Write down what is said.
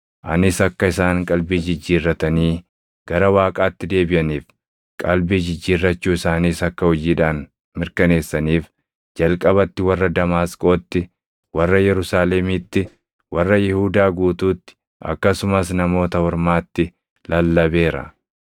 Anis akka isaan qalbii jijjiirratanii gara Waaqaatti deebiʼaniif, qalbii jijjiirrachuu isaaniis akka hojiidhaan mirkaneessaniif jalqabatti warra Damaasqootti, warra Yerusaalemiitti, warra Yihuudaa guutuutti akkasumas Namoota Ormaatti lallabeera.